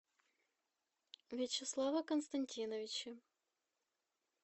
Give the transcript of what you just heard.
вячеслава константиновича